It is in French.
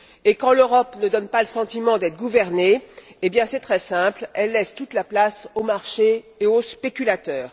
Et quand l'Europe ne donne pas le sentiment d'être gouvernée, c'est très simple, elle laisse toute la place aux marchés et aux spéculateurs.